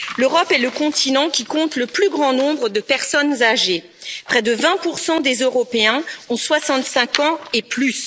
L'Europe est le continent qui compte le plus grand nombre de personnes âgées près de 20 des Européens ont soixante cinq ans et plus.